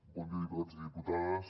bon dia diputats i diputades